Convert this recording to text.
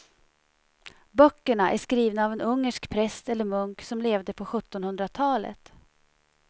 Böckerna är skrivna av en ungersk präst eller munk som levde på sjuttonhundratalet.